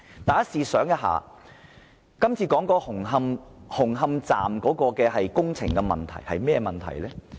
大家試想一下，目前討論的紅磡站工程出了甚麼問題？